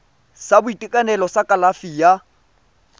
sa boitekanelo sa kalafi ya